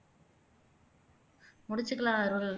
முடிச்சுக்கலாம் அருள்